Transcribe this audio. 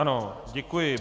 Ano, děkuji.